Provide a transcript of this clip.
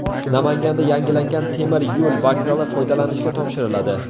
Namanganda yangilangan temir yo‘l vokzali foydalanishga topshiriladi.